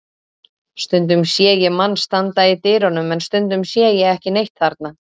Stundum sé ég mann standa í dyrunum en stundum sé ég ekki neitt þarna.